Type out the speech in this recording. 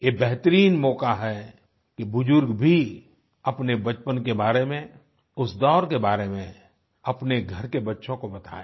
ये बेहतरीन मौका है कि बुजुर्ग भी अपने बचपन के बारे में उस दौर के बारे में अपने घर के बच्चों को बताएँ